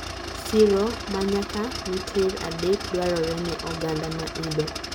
siro ma nyaka miter adek dwarore ne oganda maidho